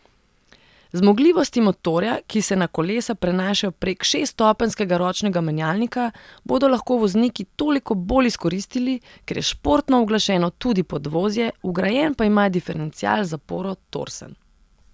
Zmogljivosti motorja, ki se na kolesa prenašajo prek šeststopenjskega ročnega menjalnika, bodo lahko vozniki toliko bolj izkoristili, ker je športno uglašeno tudi podvozje, vgrajen pa ima diferencial z zaporo Torsen.